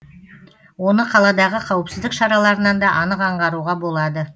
оны қаладағы қауіпсіздік шараларынан да анық аңғаруға болады